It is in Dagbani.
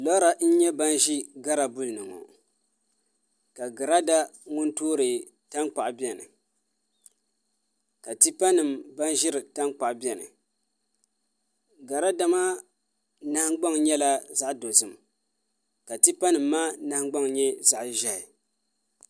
Lora n nyɛ ban ʒi girabul ni ŋo ka girada ŋun toori tankpaɣu biɛni ka tipa nim ban ʒiri tankpaɣu biɛni garada maa nahangbaŋ nyɛla zaɣ dozim ka tipa nim maa nahangbaŋ nyɛ zaɣ ʒiɛhi